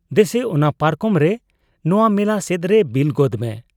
ᱫᱮᱥᱮ ᱚᱱᱟ ᱯᱟᱨᱠᱚᱢᱨᱮ ᱱᱚᱶᱟ ᱢᱮᱞᱟ ᱥᱮᱫᱨᱮ ᱵᱤᱞ ᱜᱚᱫᱽ ᱢᱮ ᱾